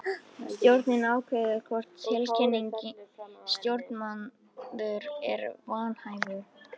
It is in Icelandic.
Stjórnin ákveður hvort tiltekinn stjórnarmaður er vanhæfur.